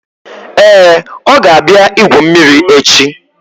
Ee, ọ ga-abịa igwu mmiri echi